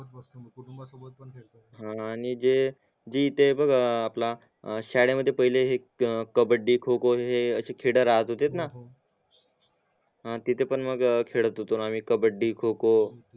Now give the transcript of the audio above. हा आणि जे जे इथे बघ अं आपला शाळेमध्ये पहिला कबड्डी खो खो हे अशे खडा राहत होते ना हा आणि तीते पण खेड्त होतो आम्ही कबड्डी खो खो